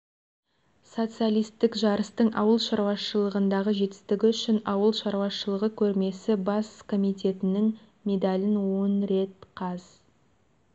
социалистік жарыстың ауыл шаруашылығындағы жетістігі үшін ауыл шаруашылығы көрмесі бас комитетінің медалін он рет қаз